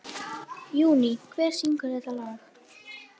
Júní, hver syngur þetta lag?